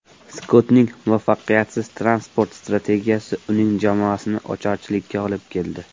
Skottning muvaffaqiyatsiz transport strategiyasi uning jamoasini ocharchilikka olib keldi.